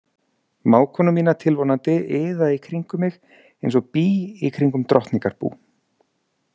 Mágkonur mínar tilvonandi iða í kringum mig eins og bý í kringum drottningarbú.